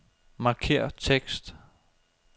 Markér tekst.